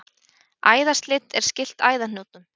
Æðaslit er skylt æðahnútum.